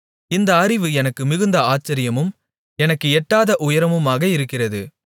இந்த அறிவு எனக்கு மிகுந்த ஆச்சரியமும் எனக்கு எட்டாத உயரமுமாக இருக்கிறது